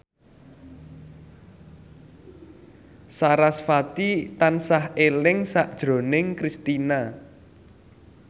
sarasvati tansah eling sakjroning Kristina